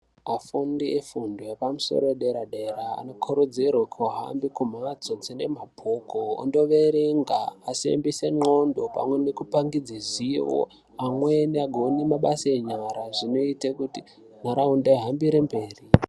Vafundi vefundo yepamusoro yedera dera anokurudzirwa kuhambe kumbatso dzine mabhuku vandoverenga vasimbise ngondhlo pamwe nekupangidze ruzivo vamweni vazokone mabasa enyara zvinoita kuti ndaraunda ihambire mberi.